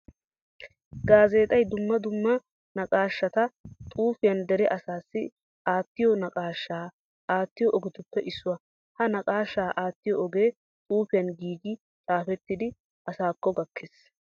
Gaazexxay dumma dumma naqaashatta xuufiyan deree asaassi aatiyo naqaasha aatiyo ogetuppe issuwa. Ha naqaasha aatiyo ogee xuufiyan giigi xaafettiddi asaakko gakees.